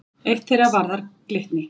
Eitt þeirra varðar Glitni.